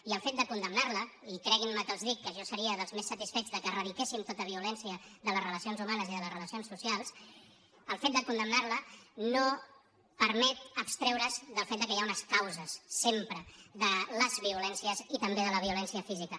i el fet de condemnar la i creguin me que els dic que jo seria dels més satisfets que eradiquéssim tota violència de les relacions humanes i de les relacions socials no permet abstreure’s del fet que hi ha unes causes sempre de les violències i també de la violència física